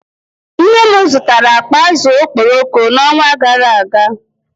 Nne m zụtara akpa azụ̀ okporoko n’ọnwa gara aga